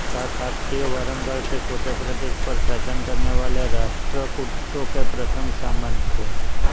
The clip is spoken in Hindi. काकतीय वरंगल के छोटे प्रदेश पर शासन करने वाले राष्ट्रकूटों के प्रथम सामंत थे